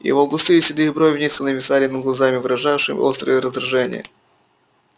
его густые седые брови низко нависли над глазами выражавшими острое раздражение